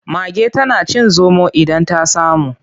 Mage tana cin zomo idan ta samu.